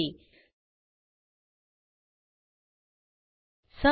ह्या ट्युटोरियलचे भाषांतर मनाली रानडे यांनी केले असून मी आपला निरोप घेते160